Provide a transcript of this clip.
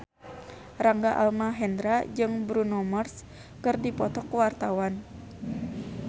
Rangga Almahendra jeung Bruno Mars keur dipoto ku wartawan